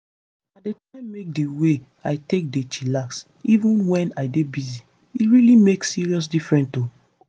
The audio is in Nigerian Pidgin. i dey try make di way i take dey chillax even wen i dey busy. e really make serious difference o.